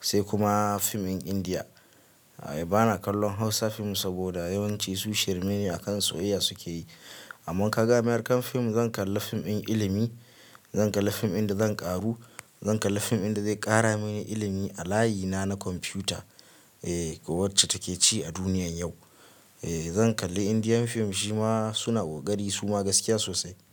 sai kuma fim ɗin Indiya. Bana kallon Hausa fim saboda yawanci su shirme ne akan soyayya suke yi. Amman ka ga American fim zan kalla fim ɗin ilimi, zan kalla fim ɗin da zan ƙaru, zan kalla fim ɗin da zai ƙara mini ilimi a layina na kwamfiyuta, eh wacce take ci a duniyar yau. Eh zan kalli indian fim shima suna ƙoraƙari gaskiya sosai.